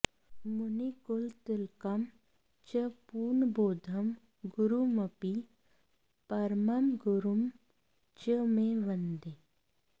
मुनिकुलतिलकं च पूर्णबोधं गुरुमपि परमं गुरुं च मे वन्दे